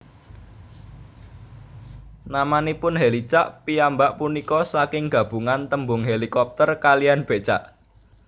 Namanipun Hèlicak piyambak punika saking gabungan tembung hélikopter kaliyan bécak